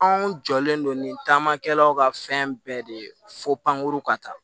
Anw jɔlen don nin taamakɛlaw ka fɛn bɛɛ de ye fo pankuru ka taa